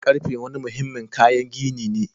Karfe wani muhimmin kayan gini ne